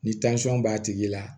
Ni b'a tigi la